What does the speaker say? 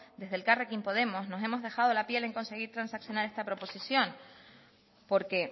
desde elkarrekin podemos nos hemos dejado la piel en conseguir transaccionar esta proposición porque